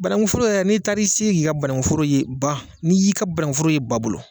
Banangu foro yɛrɛ n'i taara i sigi k'i ka banangu foro ye ban ni y'i ka banangu foro ye ba bolo